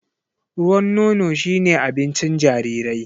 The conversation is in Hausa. Ruwan nono shi ne abincin jarirai.